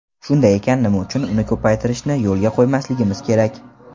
Shunday ekan, nima uchun uni ko‘paytirishni yo‘lga qo‘ymasligimiz kerak.